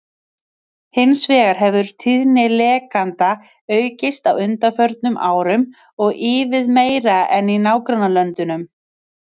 Hins vegar hefur tíðni lekanda aukist á undanförnum árum og ívið meira en í nágrannalöndunum.